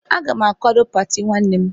Agam akwado pati nwannem